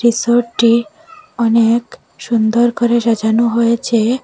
রিসর্টটি অনেক সুন্দর করে সাজানো হয়েছে।